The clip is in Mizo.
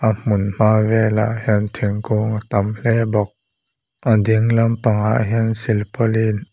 a hmunhma velah hian thingkung a tam hle bawk a ding lampangah hian slipaulin .